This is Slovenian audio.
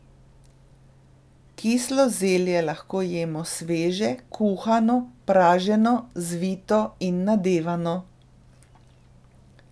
Kislo zelje lahko jemo sveže, kuhano, praženo, zvito in nadevano.